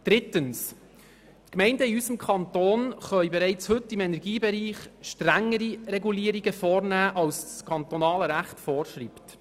Drittens können die Gemeinden in unserem Kanton bereits heute strengere Regulierungen im Energiebereich vornehmen, als sie das kantonale Recht vorschreibt.